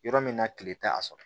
Yɔrɔ min na kile tɛ a sɔrɔ